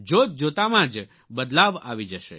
જોત જોતામાં જ બદલાવ આવી જશે